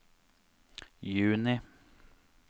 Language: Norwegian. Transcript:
juni